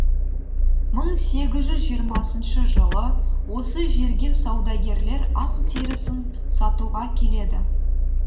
мың сегіз жүз жиырмасыншы жылы осы жерге саудагерлер аң терісін сатуға келеді